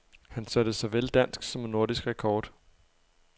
Han satte såvel dansk som nordisk rekord.